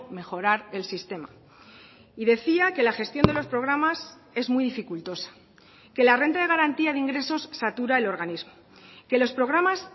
mejorar el sistema y decía que la gestión de los programas es muy dificultosa que la renta de garantía de ingresos satura el organismo que los programas